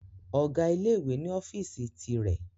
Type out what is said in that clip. Ọ̀gá ilé ìwé ni ọ́fíìsì ti rẹ̀